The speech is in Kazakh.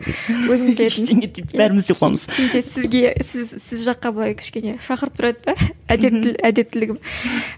ештеңе етпейді бәріміз де қуамыз кейде сізге сіз сіз жаққа былай кішкене шақырып тұрады да әдептілігім